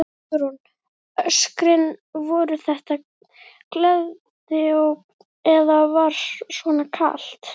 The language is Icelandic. Hugrún: Öskrin, voru þetta gleðióp eða var svona kalt?